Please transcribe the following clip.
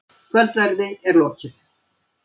Kvöldverði er lokið.